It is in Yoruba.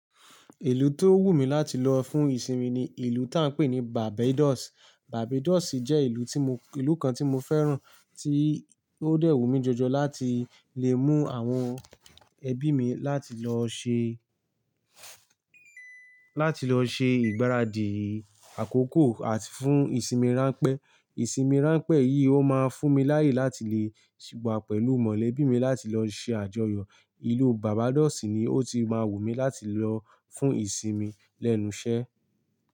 Ìlú tó wù mí láti lọ fún ìsinmi ni ìlú tí a ń pè ní Barbados. Barbados jẹ́ ìlú tí mo, ìlú kan tí mo fẹ́ràn tí ó dẹ́ wù mí jọjọ láti lè mú àwọn ẹbí mi láti lọ ṣe, láti lọ ṣe ìgbáradì àkókò àti fún ìsinmi ránpẹ́. Ìsinmi ránpẹ́ yìí ó máa fún mi laáyè láti le wa pẹ̀lú mọ̀lẹ́bí mi láti lọ ṣe àjọyọ̀. Ìlú Barbados ni ó ti máa wù mí láti lọ fún ìsinmi lẹ́nu iṣẹ́.